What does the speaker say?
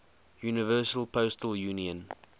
universal postal union